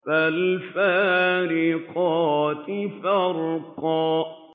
فَالْفَارِقَاتِ فَرْقًا